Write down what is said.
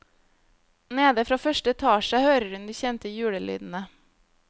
Nede fra første etasje hører hun de kjente julelydene.